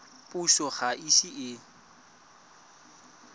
puso ga e ise e